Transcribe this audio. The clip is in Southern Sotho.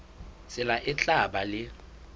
tsela e tla ba le